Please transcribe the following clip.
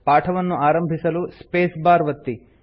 ಪಾಠವನ್ನು ಆರಂಭಿಸಲು space bar ಒತ್ತಿ